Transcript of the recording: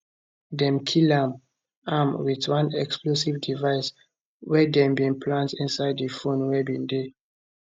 dem kill am am wit one explosive device wey dem bin plant inside di phone wey bin dey